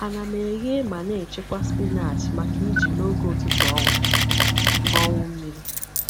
Ana m eghe ma n'echekwa spinach maka iji n’oge ụtụtụ ọnwụ ọnwụ mmiri.